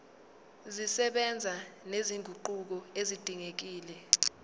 zisebenza nezinguquko ezidingekile